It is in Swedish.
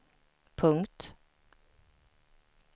punkt